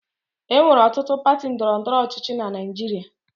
E nwere ọtụtụ pati ndọrọ ndọrọ ọchịchị na Naịjirịa.